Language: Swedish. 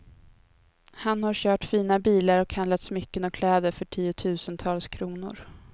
Han har kört fina bilar och handlat smycken och kläder för tiotusentals kronor.